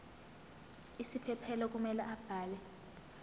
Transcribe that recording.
isiphephelo kumele abhale